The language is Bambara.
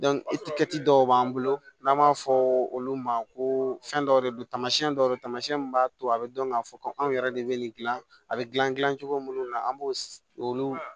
dɔw b'an bolo n'an b'a fɔ olu ma ko fɛn dɔw de don taamasiyɛn dɔw don tamasiyɛn mun b'a to a bɛ dɔn k'a fɔ ko anw yɛrɛ de bɛ nin dilan a bɛ dilan cogo minnu na an b'o olu